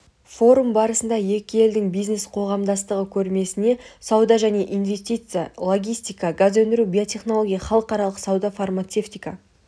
форум барысында екі елдің бизнес-қоғамдастығы көрмесіне сауда және инвестиция логистика газ өндіру биотехнология халықаралық сауда фармацевтика